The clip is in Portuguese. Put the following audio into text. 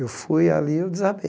Eu fui ali e eu desabei.